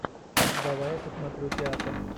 давай я посмотрю театр